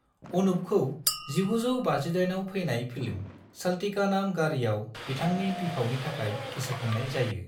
अनूपखौ 1958आव फैनाय फिल्म चलती का नाम गाड़ीआव बिथांनि बिफावनि थाखाय गोसोखांनाय जायो।